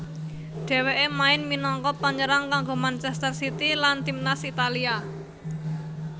Dhèwêké main minangka panyerang kanggo Manchester City lan timnas Italia